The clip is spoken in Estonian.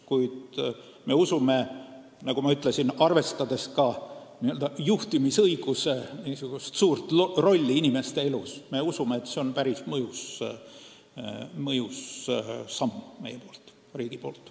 Kuid me usume, arvestades ka juhtimisõiguse suurt rolli inimeste elus, et see on päris mõjus samm meie riigi poolt.